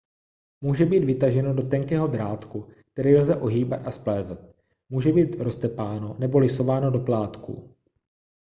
může být vytaženo do tenkého drátku který lze ohýbat a splétat může být roztepáno nebo lisováno do plátků